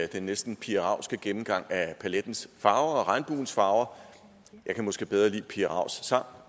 den næsten pia raugske gennemgang af palettens farver og regnbuens farver jeg kan måske bedre lide pia raugs sang